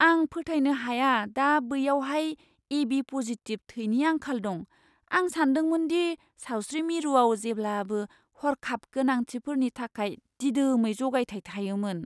आं फोथायनो हाया दा बैयावहाय एबि पजिटिब थैनि आंखाल दं। आं सानदोंमोन दि सावस्रि मिरुआव जेब्लाबो हर्खाब गोनांथिफोरनि थाखाय दिदोमै जगायथाय थायोमोन!